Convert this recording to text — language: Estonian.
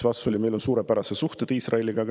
Vastus oli, et meil on suurepärased suhted Iisraeliga.